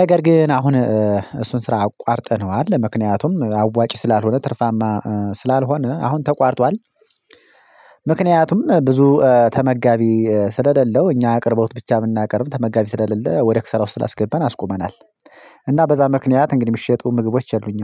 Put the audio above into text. ነገር ግን አሁን እሱን ስራ አቋርጠነዋል ለምክንያቱም አዋጪ ስላልሆነ ትርፋማ ስላልሆነ አሁን ተቋርጧል። ምክንያቱም ብዙ ተመጋቢ ስለለለው እኛ አቅርቦት ብቻ ብናቀርብ ተመጋቢ ስለሌለ ወደ ክስራ ውስጥ ስላስገባን አስቁመናል። እና በዛ ምክንያት እንግዲህ የምሸጡ ምግቦች የሉኝም